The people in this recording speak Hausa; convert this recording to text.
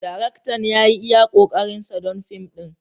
Daraktan ya yi iya ƙoƙarinsa don fim ɗin.